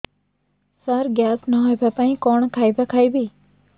ସାର gas ନ ହେବା ପାଇଁ କଣ ଖାଇବା ଖାଇବି